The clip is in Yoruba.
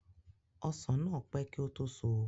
Ọsàn náà pẹ́ kí ó tó so